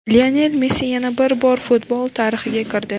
Lionel Messi yana bir bor futbol tarixiga kirdi.